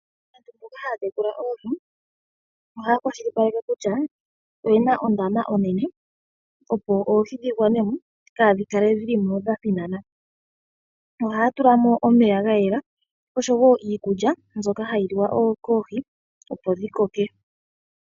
Aantu mboka haya tekula oohi ohaya kwashilipaleke kutya oyena ondama onene opo oohi dhi gwane mo kaadhi kale dhili mo dha thinana. Ohaya tula mo omeya ga yela oshowo iikulya mbyoka hayi liwa koohi opo dhi koke.